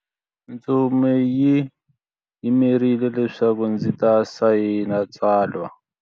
Ntsumi yi ndzi yimerile leswaku ndzi ta sayina tsalwa.